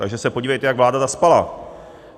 Takže se podívejte, jak vláda zaspala.